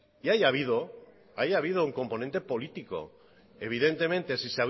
y ahí ha habido un componente político evidentemente si